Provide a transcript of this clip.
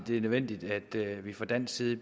er nødvendigt at vi fra dansk side